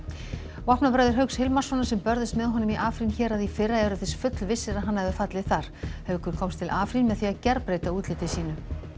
vopnabræður Hauks Hilmarssonar sem börðust með honum í héraði í fyrra eru þess fullvissir að hann hafi fallið þar haukur komst til Afrín með því að gerbreyta útliti sínu